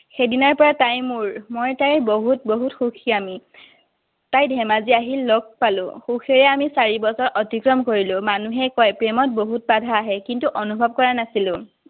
সেইদিনাৰ পৰা তাই মোৰ, মই তাইৰ। বহুত বহুত বহুত সুখী আমি। তাই ধেমাজি আহিল, লগ পালো। সুখেৰে আমি চাৰি বছৰ অতিক্ৰম কৰিলো। মানুহে কয়, প্ৰেমত বহুত বাধা আহে। কিন্তু অনুভৱ কৰা নাছিলো।